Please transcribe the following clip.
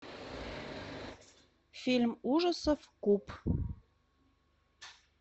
фильм ужасов куб